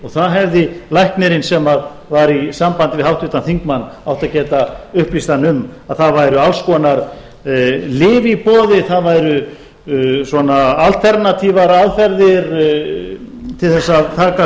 og það hefði læknirinn sem var í sambandi við háttvirtan þingmann átt að geta upplýst hann um að það væru alls konar lyf í boði það væru alternatífar aðferðir til þess að takast